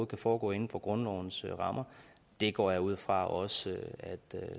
kan foregå inden for grundlovens rammer det går jeg ud fra også herre